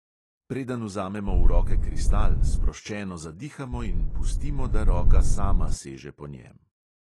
Preden vzamemo v roke kristal, sproščeno zadihamo in pustimo, da roka sama seže po njem.